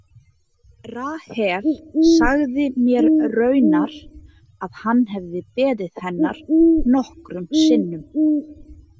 Rahel sagði mér raunar að hann hefði beðið hennar nokkrum sinnum.